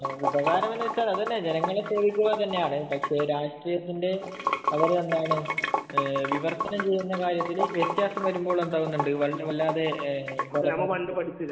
ഉപകാരം എന്ന് വച്ചാൽ അതുതന്നെ ജനങ്ങളെ സേവിക്കുക എന്നതാണ് . പക്ഷെ രാഷ്ട്രീയത്തിന്റെ വിവർത്തനം കാര്യത്തിൽ വ്യത്യാസം വരുമ്പോൾ എന്താണ് വല്ലാതെ